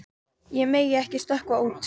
Ég megi ekki stökkva út.